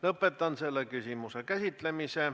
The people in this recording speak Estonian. Lõpetan selle küsimuse käsitlemise.